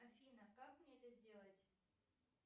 афина как мне это сделать